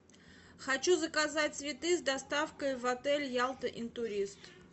хочу заказать цветы с доставкой в отель ялта интурист